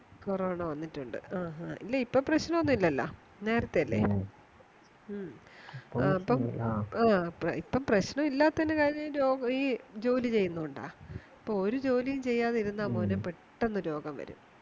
corona വന്നിട്ടുണ്ട് ആ ആ ഇല്ല ഇപ്പൊ പ്രശ്നോന്നുല്യാല്ലാ നേരത്തെയല്ലേ ആ ഇപ്പം പ്രശ്നം ഇല്ലത്തിന്റെ കാര്യം ഈ ജോലിചെയ്യന്നൂണ്ടാ ഇപ്പൊ ഒരു ജോലിയും ചെയ്യാതെ ഇരുന്ന മോനെ പെട്ടന്ന് രോഗംവരും